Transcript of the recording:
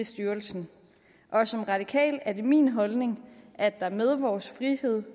styrelsen og som radikal er det min holdning at der med vores frihed